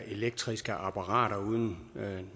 elektriske apparater uden